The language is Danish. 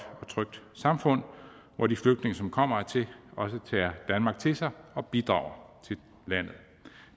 og trygt samfund hvor de flygtninge som kommer hertil også tager danmark til sig og bidrager til landet